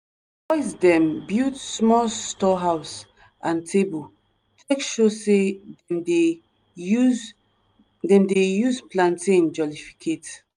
boys dem build small store house and table take show say dem dey use dem dey use plantain jollificate